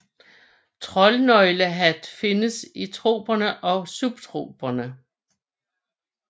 Troldnøgenhat findes i troperne og subtroperne